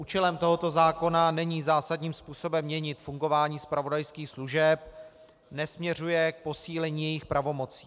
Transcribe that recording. Účelem tohoto zákona není zásadním způsobem měnit fungování zpravodajských služeb, nesměřuje k posílení jejich pravomocí.